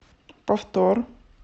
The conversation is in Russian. повтор